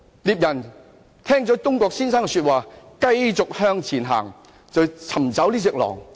獵人聽罷東郭先生的話，便繼續向前走尋找狼。